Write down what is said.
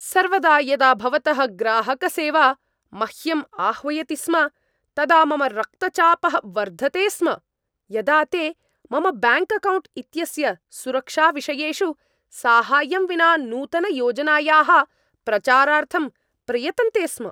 सर्वदा यदा भवतः ग्राहकसेवा मह्यं आह्वयति स्म, तदा मम रक्तचापः वर्धते स्म यदा ते मम ब्याङ्क् अकौण्ट् इत्यस्य सुरक्षाविषयेषु साहाय्यं विना नूतनयोजनायाः प्रचारार्थं प्रयतन्ते स्म।